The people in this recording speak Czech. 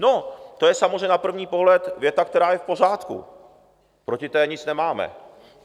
No, to je samozřejmě na první pohled věta, která je v pořádku, proti té nic nemáme.